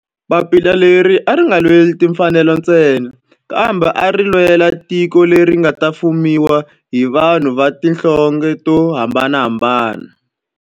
Papila leri a ri nga lweli timfanelo ntsena kambe ari lwela tiko leri nga ta fumiwa hi vanhu va tihlonge to hambanahambana.